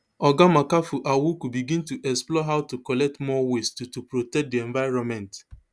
oga makafui awuku begin to explore how to collect more waste to to protect di environment